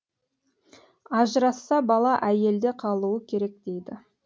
ажырасса бала әйелде қалуы керек дейді